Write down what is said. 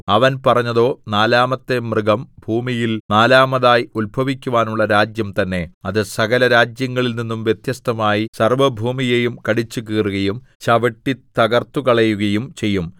അവൻ പറഞ്ഞതോ നാലാമത്തെ മൃഗം ഭൂമിയിൽ നാലാമതായി ഉത്ഭവിക്കുവാനുള്ള രാജ്യം തന്നെ അത് സകലരാജ്യങ്ങളിൽ നിന്നും വ്യത്യസ്തമായി സർവ്വഭൂമിയെയും കടിച്ചുകീറുകയും ചവിട്ടിത്തകർത്തുകളയുകയും ചെയ്യും